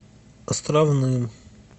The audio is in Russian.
островным